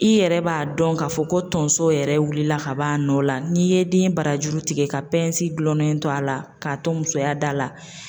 I yɛrɛ b'a dɔn k'a fɔ ko tonso yɛrɛ wulila ka bɔ a nɔ la n'i ye den barajuru tigɛ ka gulonlen to a la k'a to musoya da la.